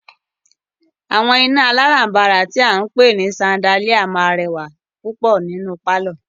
Àwọn iná alárànbàrà tí a ń pé ní ṣandáliá máà rẹwà púpọ̀ nínú pálọ̀.